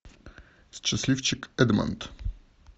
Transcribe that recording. счастливчик эдмонд